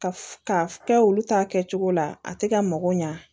Ka f ka kɛ olu ta kɛcogo la a tɛ ka mago ɲa